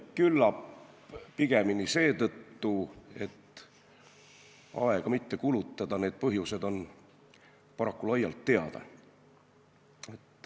Küllap pigemini seetõttu, et aega mitte kulutada, sest need põhjused on paraku laialt teada.